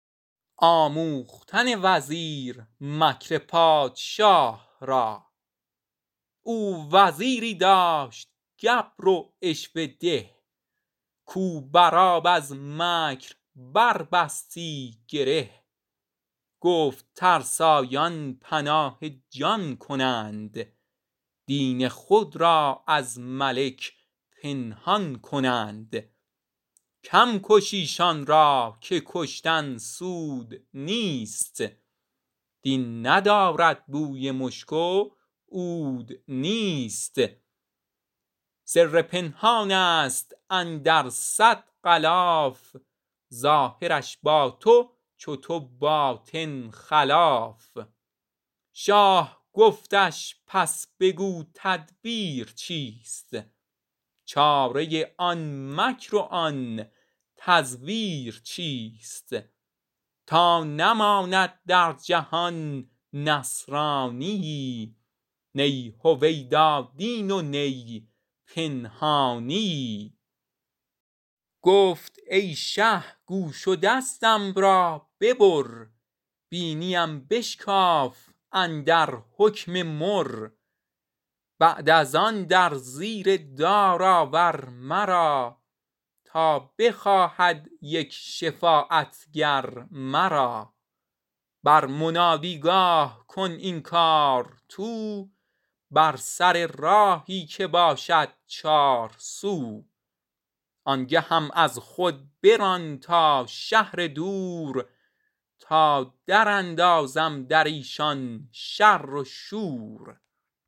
او وزیری داشت گبر و عشوه ده کو بر آب از مکر بر بستی گره گفت ترسایان پناه جان کنند دین خود را از ملک پنهان کنند کم کش ایشان را که کشتن سود نیست دین ندارد بوی مشک و عود نیست سر پنهانست اندر صد غلاف ظاهرش با تست و باطن بر خلاف شاه گفتش پس بگو تدبیر چیست چاره آن مکر و آن تزویر چیست تا نماند در جهان نصرانیی نی هویدا دین و نه پنهانیی گفت ای شه گوش و دستم را ببر بینی ام بشکاف و لب در حکم مر بعد از آن در زیر دار آور مرا تا بخواهد یک شفاعت گر مرا بر منادی گاه کن این کار تو بر سر راهی که باشد چارسو آنگهم از خود بران تا شهر دور تا در اندازم دریشان شر و شور